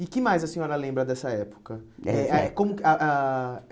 E o que mais a senhora lembra dessa época? eh Como ah ah